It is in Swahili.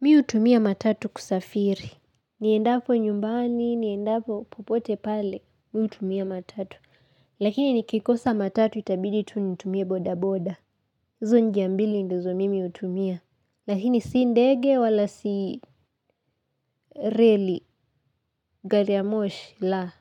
Mimi hutumia matatu kusafiri. Niendapo nyumbani, niendapo popote pale, mimi hutumia matatu. Lakini nikikosa matatu itabidi tu nitumie boda boda. Hizo njia mbili ndizo mimi hutumia. Lakini si ndege wala si reli, gari ya moshi la!